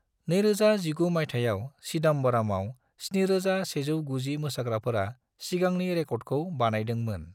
2019 मायथाइयाव चिदम्बरमाव 7,190 मोसाग्राफोरा सिगांनि रेकर्दखौ बानायदों मोन।